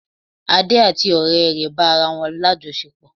Ade àti ọrẹ rẹ bá ara wọ́n ní àjọṣepọ̀